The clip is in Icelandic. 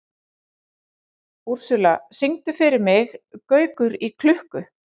Úrsúla, syngdu fyrir mig „Gaukur í klukku“.